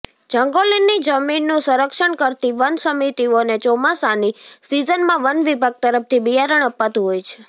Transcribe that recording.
જંગલોની જમીનનું સંરક્ષણ કરતી વન સમિતિઓને ચોમાસાની સીઝનમાં વન વિભાગ તરફથી બિયારણ અપાતુ હોય છે